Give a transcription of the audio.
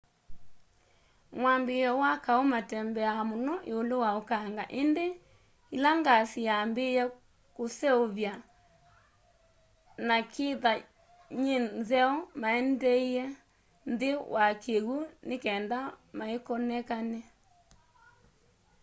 mwambiioni wa kaũ matembeaa muno ulũ wa ukanga indĩ ila ngasi yaambie kuseuvya na kitha nyĩ nzeo maendie nthini wa kiwũ ni kenda maikonekane